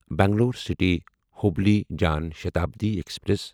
Bangalore city Hubli Jan Shatabdi express